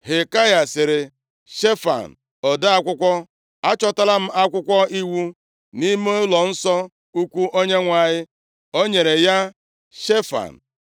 Hilkaya sịrị Shefan ode akwụkwọ, “Achọtala m Akwụkwọ Iwu nʼime ụlọnsọ ukwu Onyenwe anyị.” O nyere ya Shefan.